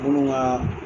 Munnu ka